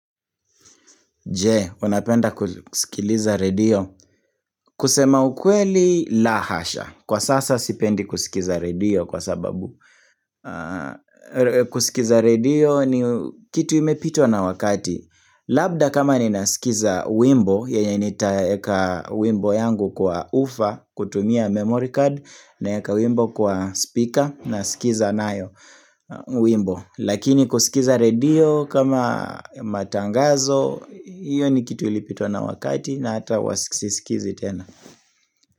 Je, unapenda kusikiliza radio? Kusema ukweli la hasha. Kwa sasa sipendi kusikiza radio kwa sababu kusikiza radio ni kitu imepitwa na wakati. Labda kama ninasikiza wimbo, yenye nitaeka wimbo yangu kwa ufa, kutumia memory card, naeka wimbo kwa speaker, nasikiza nayo wimbo. Lakini kusikiza radio kama matangazo Iyo ni kitu ilipitwa na wakati na hata huwa siskizi tena.